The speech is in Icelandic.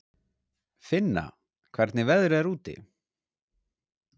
Finna, hvernig er veðrið úti?